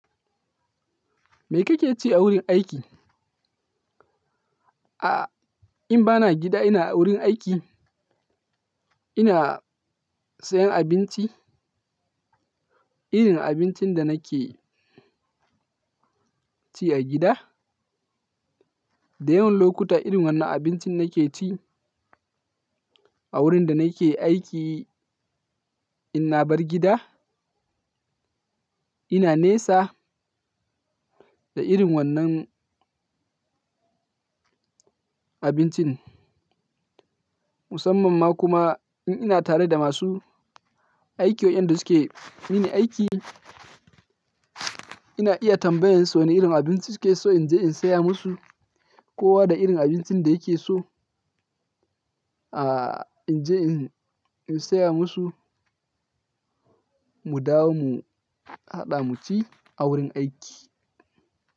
Me kake ci a wurin aiki? Aaa, in ba na gida, ina wurin aiki, ina sayen abinci, irin abincin da nake ci a gida. Da yawan lokuta irin wannan abincin nake ci a wurin da nake aiki, in na bar gida. Ina nesa da irin wannan abincin. Musamman ma kuma in ina tare da masu aiki wa, inda suke mini aiki, ina iya tambayen su ne irin abinci suke so in je in saya musu. Kowa da irin abincin da yake so, aaa in je in, in saya musu. Mu dawo mu haɗa mu ci a wurin aiki.